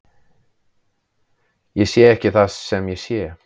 Ég sé ekki það sem ég sé.